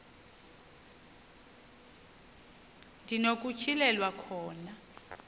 ndi nokutyhilelwa khona